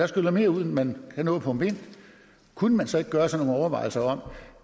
skyller mere ud end man kan nå at pumpe ind kunne man så ikke gøre sig nogle overvejelser om